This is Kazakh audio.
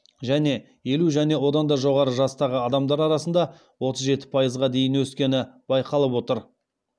және елу және одан жоғары жастағы адамдар арасында отыз жеті пайызға дейін өскені байқалып отыр